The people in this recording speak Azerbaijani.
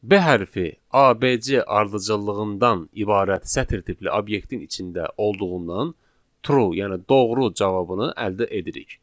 B hərfi ABC ardıcıllığından ibarət sətir tipli obyektin içində olduğundan true, yəni doğru cavabını əldə edirik.